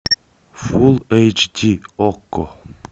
фул эйч ди окко